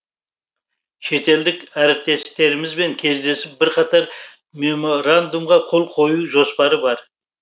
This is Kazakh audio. шетелдік әріптестерімізбен кездесіп бірқатар меморандумға қол қою жоспары бар